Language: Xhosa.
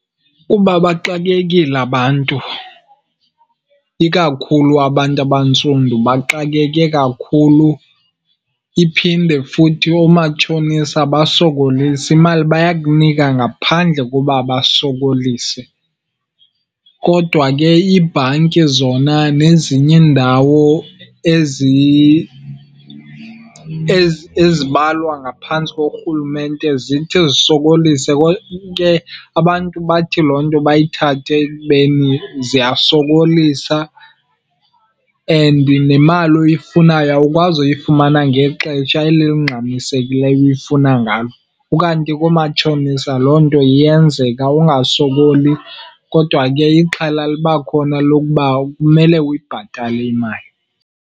Kuba bexakekile abantu, ikakhulu abantu abantsundu baxakeke kakhulu. Iphinde futhi oomatshonisa abasokolisi, imali bayakunika ngaphandle koba basokolise. Kodwa ke iibhanki zona nezinye iindawo ezibalwa ngaphantsi korhulumente zithi zisokolise . Ke abantu bathi loo nto bayithathe ekubeni ziyasokolisa and nemali oyifunayo awukwazi uyifumana ngexetsha eli lingxamisekileyo uyifuna ngalo. Ukanti koomatshonisa loo nto iyenzeka, ungasokoli, kodwa ke ixhala liba khona lokuba kumele uyibhatale imali.